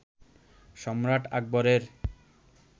সম্রাট আকবরের